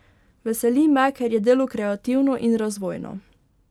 Veseli me, ker je delo kreativno in razvojno.